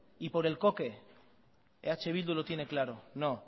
y por el coque eh bildu lo tiene claro no